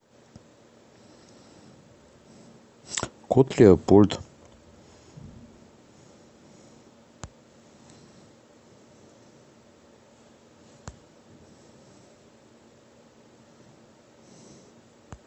кот леопольд